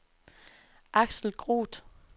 Aksel Groth